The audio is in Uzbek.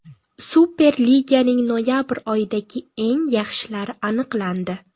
Superliganing noyabr oyidagi eng yaxshilari aniqlandi.